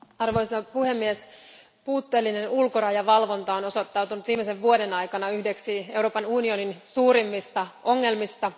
Arvoisa puhemies, puutteellinen ulkorajavalvonta on osoittautunut viimeisen vuoden aikana yhdeksi Euroopan unionin suurimmista ongelmista.